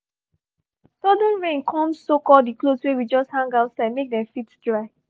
sudden rain come soak all the clothes wey we just hang outside make dem fit dry